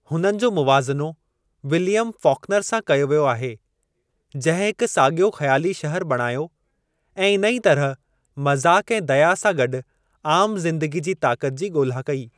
हुननि जो मुवाज़नो विलियम फ़ॉक्नर सां कयो वियो आहे जिंहिं हिकु सागि॒यो ख़्याली शहर बणायो ऐं इन ई तरह मज़ाक़ ऐं दया सां गॾु आम ज़िंदगी जी ताक़त जी ॻोल्हा कई।